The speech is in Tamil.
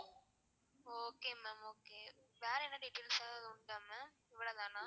okay ma'am okay வேற என்ன details ஆவது உண்டா ma'am இவ்ளதானா?